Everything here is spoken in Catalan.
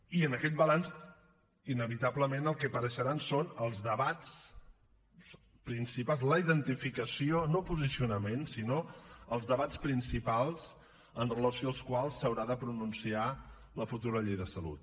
i en aquest balanç inevitablement el que hi apareixeran són els debats principals la identificació no posicionament sinó els debats principals amb relació als quals s’haurà de pronunciar la futura llei de salut